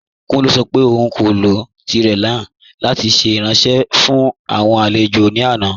Kùnlẹ̀ sọ̀ pé ọ̀un kò lọ tirẹé náà lati ṣẹ̀ iranṣẹ̀ fún awọn alẹ̀jọ̀ ní àná.